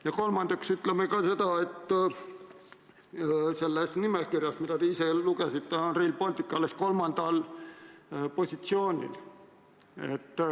Ja kolmandaks: selles nimekirjas, mille te ette lugesite, on Rail Baltic alles kolmandal positsioonil.